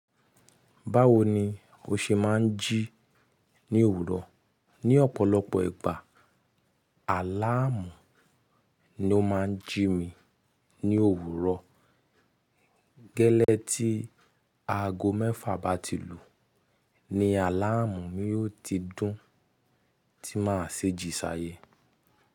Báwo ni o ṣe máa ń jí ní òwúrọ̀? Ni ọ̀pọ̀lọpọ̀ ìgbà, àláàmù ni ó máa ń jí mi ní òwúrọ̀. Gẹ́lẹ́ tí aago mẹ́fà bá ti lù, ni àláàmù yóò ti dùn tí máa ṣi jí sáyé.